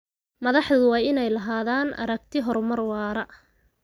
Madaxdu waa inay lahaadaan aragti horumar waara.